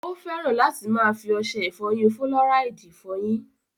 Ó fẹ́ràn láti máa fi ọṣẹ ìfọyín fúlọ́ráìdì fọyín.